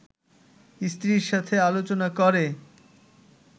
স্ত্রীর সাথে আলোচনা করে